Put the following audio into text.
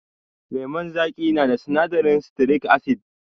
Lemun zaƙi na da sinadarin sitirik asid.